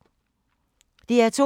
DR2